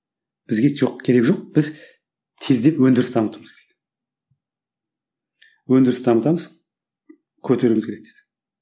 бізге жоқ керек жоқ біз тездеп өндіріс дамытуымыз өндіріс дамытамыз көтеруіміз керек дейді